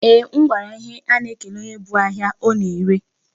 Eeh, m gwara ya ihe a na-ekele onye bu ahịa ọ na-ere.